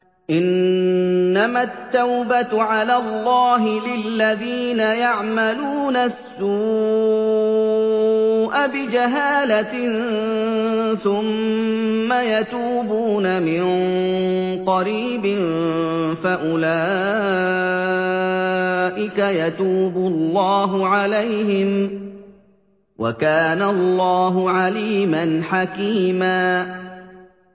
إِنَّمَا التَّوْبَةُ عَلَى اللَّهِ لِلَّذِينَ يَعْمَلُونَ السُّوءَ بِجَهَالَةٍ ثُمَّ يَتُوبُونَ مِن قَرِيبٍ فَأُولَٰئِكَ يَتُوبُ اللَّهُ عَلَيْهِمْ ۗ وَكَانَ اللَّهُ عَلِيمًا حَكِيمًا